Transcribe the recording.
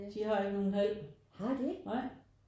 De har ikke nogen hal nej